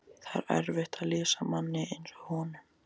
Það er erfitt að lýsa manni eins og honum.